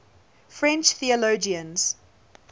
french theologians